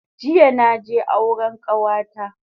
Jiya naje auren kawata